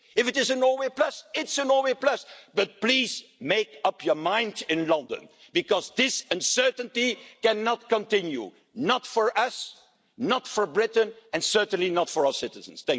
If it is a Norway plus, it's a Norway plus. But, please, make up your mind in London because this uncertainty cannot continue, not for us, not for Britain, and certainly not for our citizens.